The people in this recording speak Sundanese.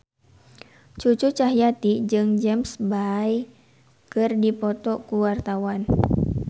Cucu Cahyati jeung James Bay keur dipoto ku wartawan